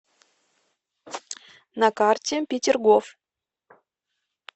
на карте петергоф